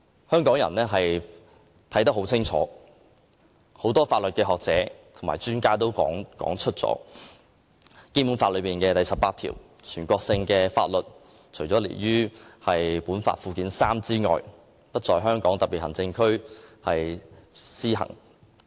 香港人看得很清楚，很多法律學者和專家亦曾指出，《基本法》第十八條提及的全國性法律，除列於附件三的法律外，不在香港特別行政區施行。